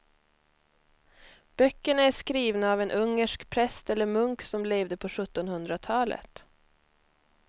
Böckerna är skrivna av en ungersk präst eller munk som levde på sjuttonhundratalet.